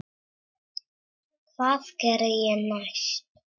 Hvað geri ég næst?